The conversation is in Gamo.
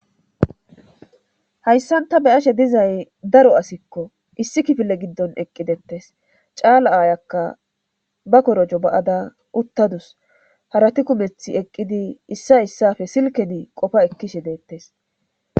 Hayssan ta be'ashe dizay daro asikko .lssi kifile giddon eqqi dettes. Caala aayakka ba korojo ba'ada uttadasu. Harati kumethi eqqidi issa issappe silkedi qofa ekkishe deettes.